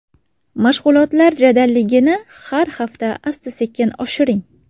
Mashg‘ulotlar jadalligini har hafta asta-sekin oshiring.